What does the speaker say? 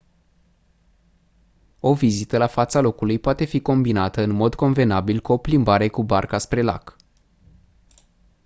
o vizită la fața locului poate fi combinată în mod convenabil cu o plimbare cu barca spre lac